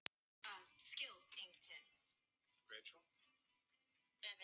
Nú skyldi verða tekið í taumana, ef.